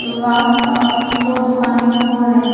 आसपास दो दुकानें और है।